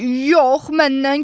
Yox, məndən keçdi.